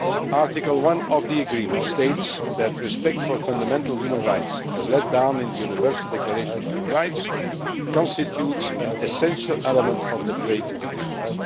Article 1 of the agreement states that respect for fundamental human rights as laid down in the Universal Declaration of Human Rights constitutes an essential element of the trade agreement.